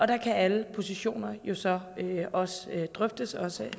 der kan alle positioner jo så drøftes også